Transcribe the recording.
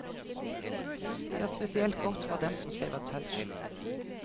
Det er spesielt godt for dem som skriver touch.